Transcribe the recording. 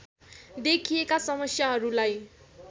देखिएका समस्याहरूलाई